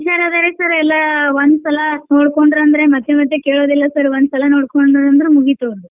ಹಾ ಹುಷಾರ್ ಅದಾರ್ ರಿ sir ಒಂದ್ ಸಲಾ ತಿಳ್ಕೊಂಡ್ರಂದ್ರೆ ಮತ್ತೆ ಮತ್ತೆ ಕೇಳುದಿಲ್ಲ sir ಒಂದ್ ಸಲಾ ನೋಡ್ಕೊಂಡ್ರಂದ್ರ ಮುಗೀತ್ ಅವರ್ದು.